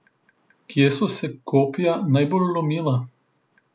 Kje so se kopja najbolj lomila?